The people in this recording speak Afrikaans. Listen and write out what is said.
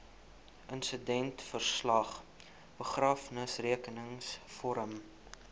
insidentverslag begrafnisrekenings vorm